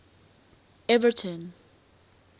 everton